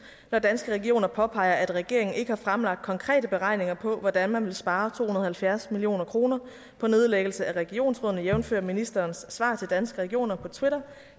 når danske regioner påpeger at regeringen ikke har fremlagt konkrete beregninger på hvordan man vil spare to hundrede og halvfjerds million kroner på nedlæggelse af regionsrådene jævnfør ministerens svar til danske regioner på twitter